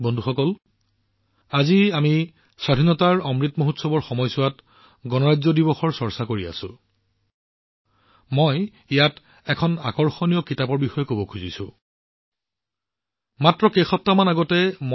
বন্ধুসকল আজি যেতিয়া আমি আজাদী কা অমৃত মহোৎসৱৰ সময়ত আমাৰ গণতন্ত্ৰ দিৱসৰ বিষয়ে আলোচনা কৰি আছো মই ইয়াত এখন আকৰ্ষণীয় কিতাপৰ বিষয়েও উল্লেখ কৰিম